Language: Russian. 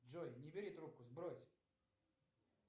джой не бери трубку сбрось